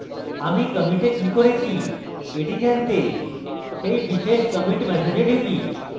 আমরা কমিটে কি করেছি এটি জানতে সেই বিশেষ commit message we টিপি